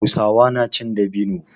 Hausawa na cin dabino.